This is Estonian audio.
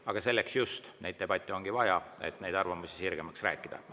Aga selleks just neid debatte ongi vaja, et neid arvamusi sirgemaks rääkida.